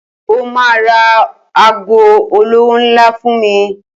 Ó ma ra ago olówó ńlá fún mi.